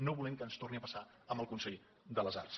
no volem que ens torni a passar amb el consell de les arts